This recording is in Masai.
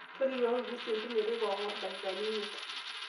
tolikioki kuusu entumo eteipa engor dakikani imiet